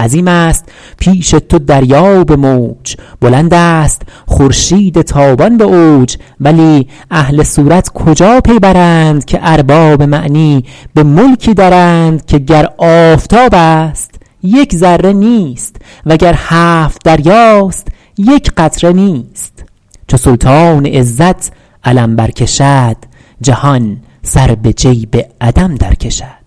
عظیم است پیش تو دریا به موج بلند است خورشید تابان به اوج ولی اهل صورت کجا پی برند که ارباب معنی به ملکی درند که گر آفتاب است یک ذره نیست وگر هفت دریاست یک قطره نیست چو سلطان عزت علم بر کشد جهان سر به جیب عدم در کشد